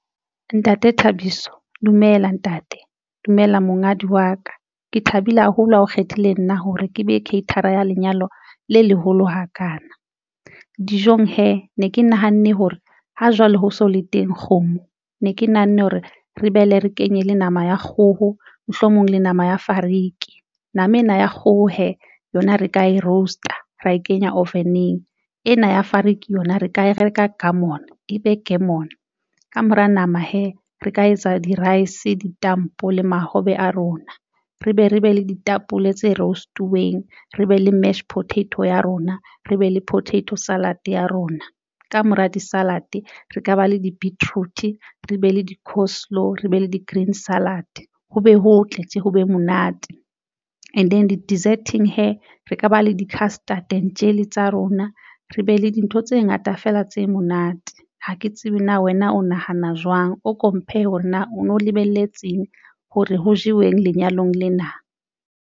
Ntate Thabiso dumela ntate dumela monghadi wa ka. Ke thabile haholo ha o kgethile nna hore ke be caterer a ya lenyalo le leholo hakana dijong hee ne ke nahanne hore ha jwale ho so le teng kgomo ne ke nahanne hore re behele re kenye le nama ya kgoho, mohlomong le nama ya fariki. Nama ena ya kgoho yona re ka e roast-a ra e kenya oven-eng ena ya fariki yona re ka e reka ka gourmet be ke mona ka mora nama hee re ka etsa di-rice di stampo le mahobe a rona, re be re be le ditapole tse roast-uweng re be le mash potatoes ya rona, re be le potato salad ya rona. Kamora di salad re ka ba le di beetroot tjhe, re be le di course lo re be le di green salad, ho be ho tle tje ho be monate. And then di deserting hee re ka ba le di castor. Tjhentjhele tsa rona re be le dintho tse ngata fela tse monate. Ha ke tsebe na wena o nahana jwang, o ko mphe hore na o no lebelletseng hore ho jeweng lenyalong lena.